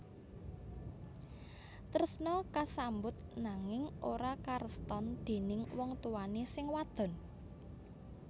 Tresna kasambut nanging ora kareston déning wong tuwané sing wadon